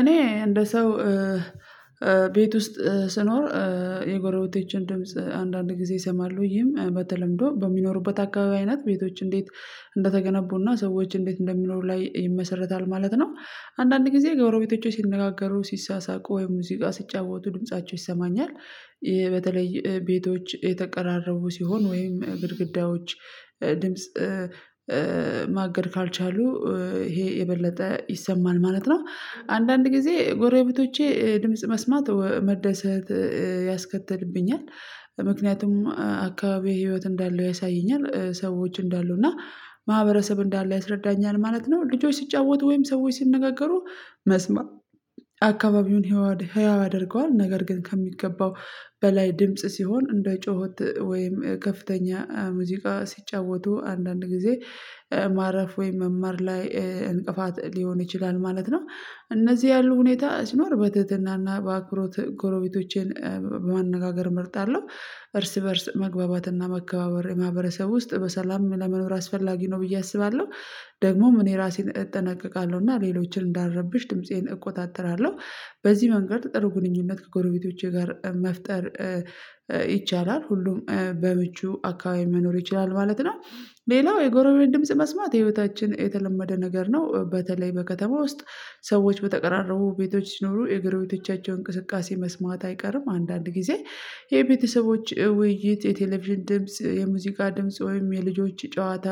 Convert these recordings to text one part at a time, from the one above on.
እኔ እንደ ሰው ቤት ውስጥ ስኖር የጎረቤቶችን ድምጽ አንዳንድ ጊዜ ይሰማሉ ይህም በተለምዶ በሚኖሩበት አካባቢ አይነት ቤቶች እንዴት እንደተገነቡና ሰዎች እንዴት እንደሚኖሩ ላይ ይመሰርታል ማለት ነው። አንዳንድ ጊዜ ጎረቤቶቼ ሲነጋገሩ ሲሳሳቁ ወይ ሙዚቃ ስጫወቱ ድምፃቸው ይሰማኛል። በተለይ ቤቶች የተቀራረቡ ሲሆን ወይም ግድግዳዎች ድምጽ ማገድ ካልቻሉ ይሄ የበለጠ ይሰማል ማለት ነው። አንዳንድ ጊዜ ጎረቤቶቼ ድምጽ መስማት መደሰት ያስከትልብኛል። ምክንያቱም አካባቢ ህይወት እንዳለው ያሳየኛል ሰዎች እንዳሉ እና ማህበረሰብ እንዳለው ያስረዳኛል ማለት ነው። ልጆች ሲጫወቱ ወይም ሰዎች ሲነጋገሩ መስማት አካባቢውን ህያው ያደርገዋል። ነገር ግን ከሚገባው በላይ ድምጽ ሲሆን እንደ ጩኸት ወይም ከፍተኛ ሙዚቃ ሲጫወቱ አንዳንድ ጊዜ ማረፍ ወይም መማር ላይ እንቅፋት ሊሆን ይችላል ማለት ነው። እነዚህ ያሉ ሁኔታ ሲኖር በትህትናና በአክብሮት ጎረቤቶቼን ማነጋገር መርጣለሁ እርስ በእርስ መግባባትና መከባበር የማህበረሰብ ውስጥ በሰላም ለመኖር አስፈላጊ ነው ብዬ አስባለሁ። ደግሞም እኔ ራሴን እጠነቀቃለሁ እና ሌሎችን እንዳረብሽ ድምፄን እቆጣጠራለሁ። በዚህ መንገድ ጥሩ ግንኙነት ከጎረቤቶቼ ጋር መፍጠር ይቻላል። ሁሉም በምቹ አካባቢ መኖር ይችላል ማለት ነው። ሌላው የጎረቤት ድምጽ መስማት የቤታችን የተለመደ ነገር ነው። በተለይ በከተማ ውስጥ ሰዎች በተቀራረቡ ቤቶች ሲኖሩ የጎረቤቶቻቸውን እንቅስቃሴ መስማት አይቀርም። አንዳንድ ጊዜ የቤተሰቦች ውይይት የቴሌቪዥን ድምጽ የሙዚቃ ድምጽ ወይም የልጆች ጨዋታ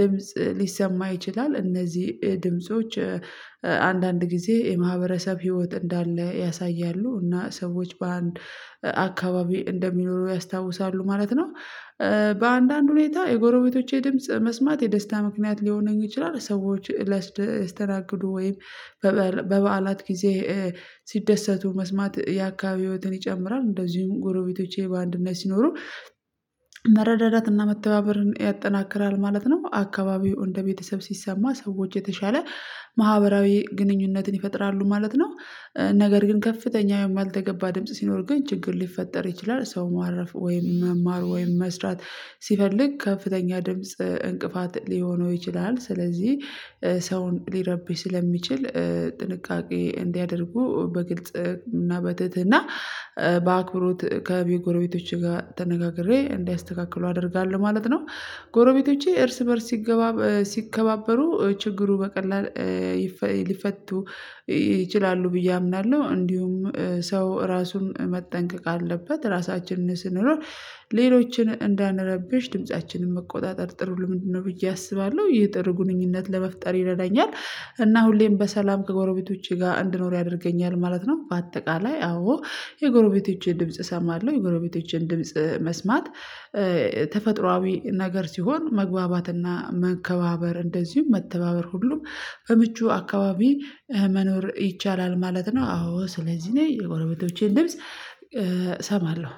ድምጽ ሊሰማ ይችላል። እነዚህ ድምጾች አንዳንድ ጊዜ የማህበረሰብ ህይወት እንዳለ ያሳያሉ እና ሰዎች በአንድ አካባቢ እንደሚኖሩ ያስታውሳሉ ማለት ነው። በአንዳንድ ሁኔታ የጎረቤቶቼ ድምጽ መስማት የደስታ ምክንያት ሊሆነኝ ይችላል ሰዎች ላስተናግዱ ወይም በበዓላት ጊዜ ሲደሰቱ መስማት የአካባቢ ህይወትን ይጨምራል። እንደዚሁም ጎረቤቶቼ በአንድነት ሲኖሩ መረዳዳትና መተባበርን ያጠናክራል ማለት ነው። አካባቢው እንደ ቤተሰብ ሲሰማ ሰዎች የተሻለ ማህበራዊ ግንኙነትን ይፈጥራሉ ማለት ነው። ነገር ግን ከፍተኛ ወይም ያልተገባ ድምጽ ሲኖር ግን ችግር ሊፈጠር ይችላል ሰው ማረፍ ወይም መማር ወይም መስራት ሲፈልግ ከፍተኛ ድምጽ እንቅፋት ሊሆነው ይችላል። ስለዚህ ሰውን ሊረብሽ ስለሚችል ጥንቃቄ እንዲያደርጉ በግልጽ እና በትህትና በአክብሮት ከቤጎሮቤቶቼ ጋር ተነጋግሬ እንዲያስተካክሉ አደርጋለሁ ማለት ነው። ጎረቤቶቼ እርስ በእርስ ሲገባ ሲከባበሩ ችግሩ በቀላሉ ሊፈቱ ይችላሉ ብዬ አምናለሁ። እንዲሁም ሰው ራሱን መጠንቀቅ አለበት ራሳችንን ስንኖር ሌሎችን እንዳንረብሽ ድምፃችንን መቆጣጠር ጥሩ ልምድ ነው ብዬ አስባለሁ። ይህ ጥሩ ግንኙነት ለመፍጠር ይረዳኛል እና ሁሌም በሰላም ከጎረቤቶቼ ጋር እንድኖር ያደርገኛል ማለት ነው። በአጠቃላይ አዎ የጎረቤቶቼን ድምጽ እሰማለሁ። የጎረቤቶቼን ድምጽ መስማት ተፈጥሮአዊ ነገር ሲሆን መግባባትና መከባበር እንደዚሁም መተባበር ሁሉም በምቹ አካባቢ መኖር ይቻላል ማለት ነው። አዎ ስለዚህ እኔ የጎረቤቶቼን ድምጽ እሰማለሁ